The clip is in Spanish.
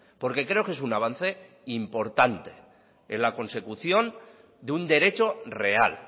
porque creo que es un avance importante en la consecución de un derecho real